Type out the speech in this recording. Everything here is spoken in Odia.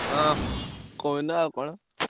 ହଁ କହୁନ ଆଉ କଣ।